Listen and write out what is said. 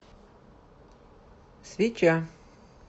свеча